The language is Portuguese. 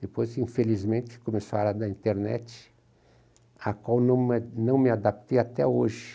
Depois, infelizmente, começou a era da internet, a qual não não me adaptei até hoje.